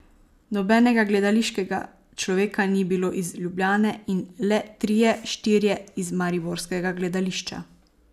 Nobenega gledališkega človeka ni bilo iz Ljubljane in le trije, štirje iz mariborskega gledališča.